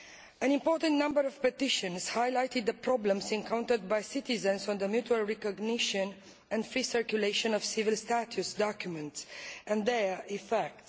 An important number of petitions highlighted the problems encountered by citizens on the mutual recognition and free circulation of civil status documents and their effects.